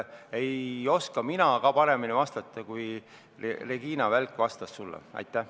Ei oska mina ka paremini vastata, kui Regina Vällik sulle vastas.